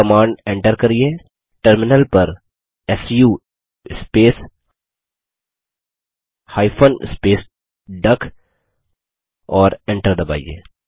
command enter करियेटर्मिनल पर su space hyphen space duck और Enter दबाइए